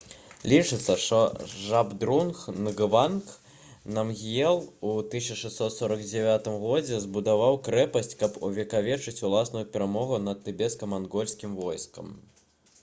лічыцца што жабдрунг нгаванг намгіел у 1649 годзе збудаваў крэпасць каб увекавечыць уласную перамогу над тыбецка-мангольскім войскам